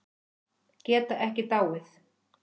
Geta ekki dáið.